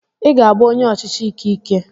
I ga-abụ onye ọchịchị ike ike.